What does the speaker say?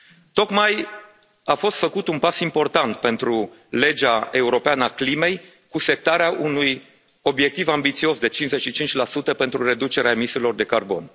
Tocmai a fost făcut un pas important pentru legea europeană a climei cu setarea unui obiectiv ambițios de 55 pentru reducerea emisiilor de carbon.